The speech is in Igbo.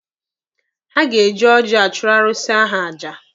Ha ga-eji oji achụrụ arụsị ahụ aja.